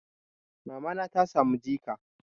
Mamana ta samu jika.